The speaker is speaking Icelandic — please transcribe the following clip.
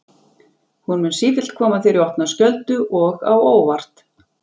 Hún mun sífellt koma þér í opna skjöldu og á óvart.